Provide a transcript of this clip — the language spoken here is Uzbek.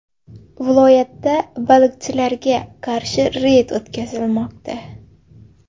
Viloyatda baliqchilarga qarshi reyd o‘tkazilmoqda.